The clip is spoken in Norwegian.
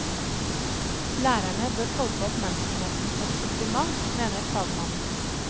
Lærerne bør tolke oppmerksomheten som en kompliment, mener fagmann.